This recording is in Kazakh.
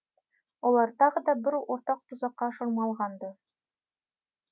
олар тағы да бір ортақ тұзаққа шырмалғанды